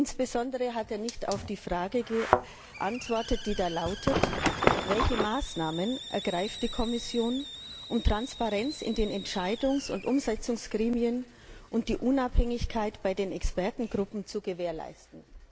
Insbesondere hat er nicht auf die Frage geantwortet, die da lautet Welche Maßnahmen ergreift die Kommission, um Transparenz in den Entscheidungs und Umsetzungsgremien und die Unabhängigkeit der Expertengruppen zu gewährleisten?